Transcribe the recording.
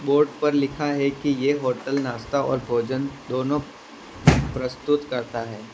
Board पर लिखा है कि ये होटल नाश्ता और भोजन दोनों प्रस्तुत करता है।